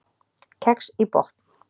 Kex í botn